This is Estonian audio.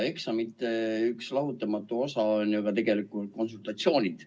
Eksamite üks lahutamatu osa on ju ka tegelikult konsultatsioonid.